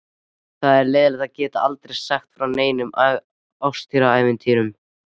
Það er leiðinlegt að geta aldrei sagt frá neinum ástarævintýrum.